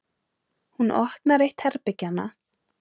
Hún opnar eitt herbergjanna.